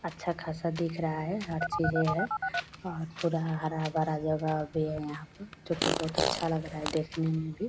अच्छा खासा दिख रहा है हर चीज़े हैं और पूरा हरा भरा जगह भी है यहाँ पर जो की बहुत अच्छा लग रहा है देखने में भी।